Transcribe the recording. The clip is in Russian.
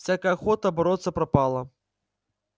всякая охота бороться пропала